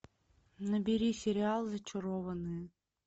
набери сериал зачарованные